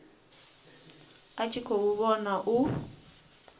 a tshi khou vhona u